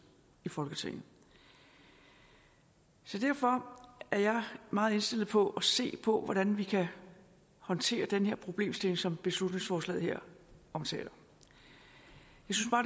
i folketinget derfor er jeg meget indstillet på at se på hvordan vi kan håndtere den her problemstilling som beslutningsforslaget her omtaler